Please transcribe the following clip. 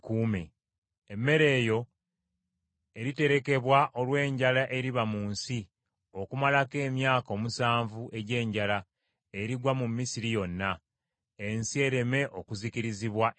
Emmere eyo eriterekebwa olw’enjala eriba mu nsi okumalako emyaka omusanvu egy’enjala erigwa mu Misiri yonna; ensi ereme okuzikirizibwa enjala.”